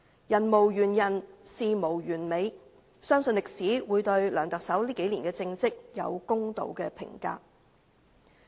人無完人，事無完美，相信歷史會對梁特首這數年的政績有公道的評價。